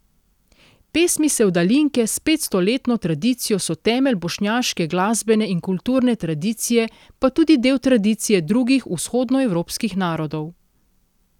Pesmi sevdalinke s petstoletno tradicijo so temelj bošnjaške glasbene in kulturne tradicije, pa tudi del tradicije drugih vzhodnoevropskih narodov.